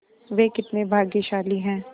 वे कितने भाग्यशाली हैं